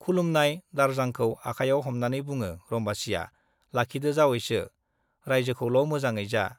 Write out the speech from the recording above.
खुलुमफुनाय दारजांखौ आखायाव हमनानै बुङो रम्बासीया, लाखिदो जावैसो, राइजोखौल' मोजाङे जा।